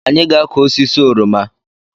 Anyị-ga akụ osisi oroma